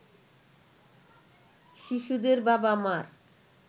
শিশুদের বাবা-মার